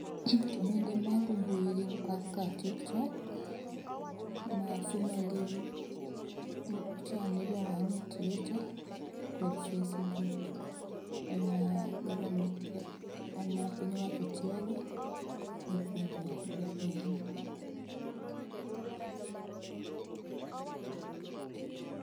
Gik mako mbui gin kaka tiktok, ma formerly chon ne iluongo ni Twitter kod facebuk ema government piny owacho tiyo go epuonjo jopiny pause.